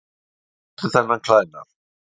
Hvar fékkstu þennan klæðnað?